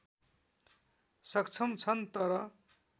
सक्षम छन् तर